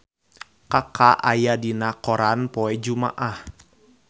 Kaka aya dina koran poe Jumaah